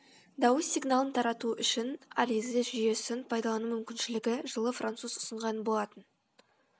дауыс сигналын тарату үшін а ризе жүйесін пайдалану мүмкіншілігі жылы француз ұсынған болатын